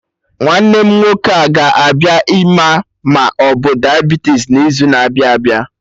Nwanne m nwoke a ga-abịa ịma ma obu Diabitis n'izu na-abịa abịa?